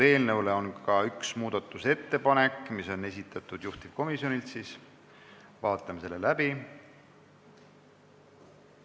Eelnõu kohta on ka üks muudatusettepanek, mis on juhtivkomisjonilt, vaatame selle läbi.